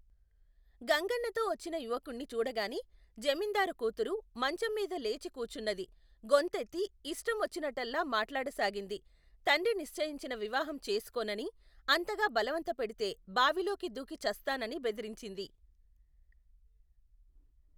గంగన్నతో వచ్చిన యువకుణ్ణి చూడగానే, జమీందారు కూతురు, మంచంమీద లేచి కూచున్నది గొంతెత్తి, ఇష్టం వచ్చినట్టల్లా మాట్లాడసాగింది, తండ్రి నిశ్చయించిన వివాహం చేసుకోననీ, అంతగా బలవంతపెడితే బావిలోకి దూకి చస్తాననీ బెదిరించింది.